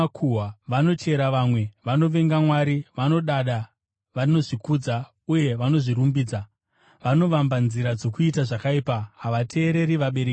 vanochera vamwe, vanovenga Mwari, vanodada, vanozvikudza uye vanozvirumbidza; vanovamba nzira dzokuita zvakaipa; havateereri vabereki vavo;